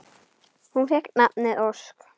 Hún fékk nafnið Ósk.